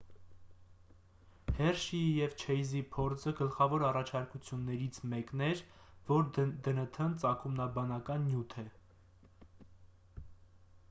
հերշիի և չեյզի փորձը գլխավոր առաջարկություններից մեկն էր որ դնթ-ն ծագումնաբանական նյութ է